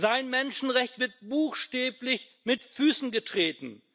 Sein Menschenrecht wird buchstäblich mit Füßen getreten.